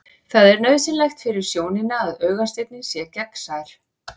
Það er nauðsynlegt fyrir sjónina að augasteininn sé gegnsær.